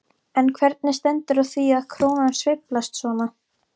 En hvernig stendur á því að krónan sveiflast svona?